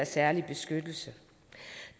særlige beskyttelse